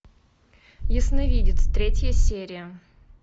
ясновидец третья серия